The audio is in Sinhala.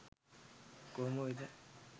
කොහොම වෙතත්